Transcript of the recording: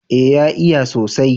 eh ya iya sosai